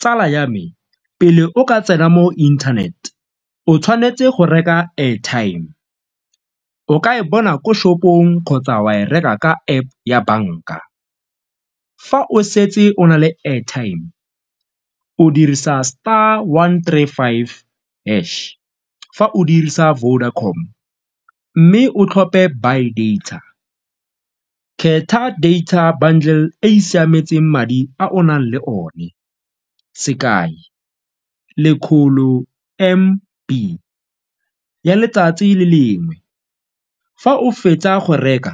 Tsala ya me, pele o ka tsena mo internet o tshwanetse go reka airtime, o ka e bona ko shop-ong kgotsa wa e reka ka App ya banka. Fa o setse o na le airtime, o dirisa star one three five hash, fa o dirisa Vodacom mme o tlhophe buy data, kgetha data bundle e e siametseng madi a o nang le one sekai lekgolo M_B ya letsatsi le lengwe. Fa o fetsa go reka,